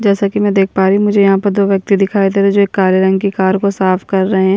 जैसा कि मैं देख पा रही हूँ मुझे यहाँ पर दो व्यक्ति दिखाई दे रहे जो एक काले रंग की कार को साफ कर रहे हैं।